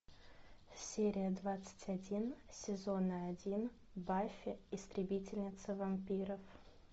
серия двадцать один сезона один баффи истребительница вампиров